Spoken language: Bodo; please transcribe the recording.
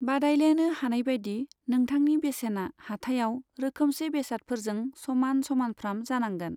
बादायलायनो हानायबायदि नोंथांनि बेसेना हाथाइआव रोखोमसे बेसादफोरजों समान समानफ्राम जानांगोन।